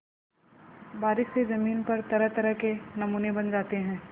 बारिश से ज़मीन पर तरहतरह के नमूने बन जाते हैं